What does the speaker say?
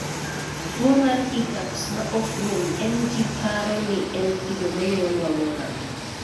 Tuwo mar hiccups ma ok rum en ji paro ni en kido monyuolwago ngato.